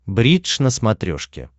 бридж на смотрешке